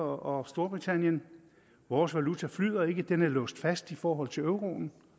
og storbritannien vores valuta flyder ikke den er låst fast i forhold til euroen